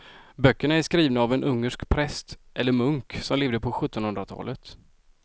Böckerna är skrivna av en ungersk präst eller munk som levde på sjuttonhundratalet.